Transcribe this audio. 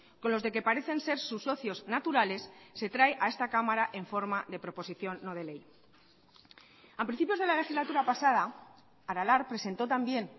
con los de que parecen ser sus socios naturales se trae a esta cámara en forma de proposición no de ley a principios de la legislatura pasada aralar presentó también